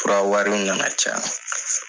Fura wariw na na caya.